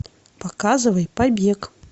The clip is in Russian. показывай побег